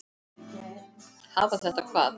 Hafa þetta hvað?